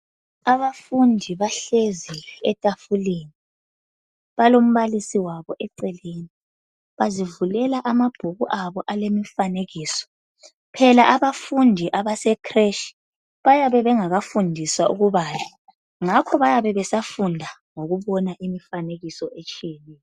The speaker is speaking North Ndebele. Abafundi bahlezi etafuleni, balombalisi wabo eceleni. Bazivulela amabhuku abo alemifanekiso .Phela abafundi abase"creche" bayabe bengakafundiswa ukubala ngakho bayabe besafunda ngokubona imifanekiso etshiyeneyo.